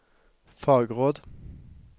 fagråd